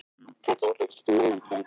Hvað gengur þessum mönnum til?